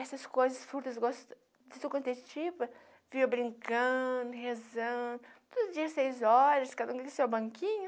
Essas coisas frutas gosto, vinha brincando, rezando, todo dia seis horas, cada um com seu banquinho.